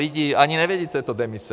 Lidi ani nevědí, co je to demise.